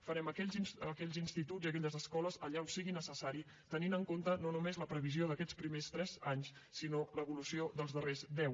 farem aquells instituts i aquelles escoles allà on sigui necessari tenint en compte no només la previsió d’aquests primers tres anys sinó l’evolució dels darrers deu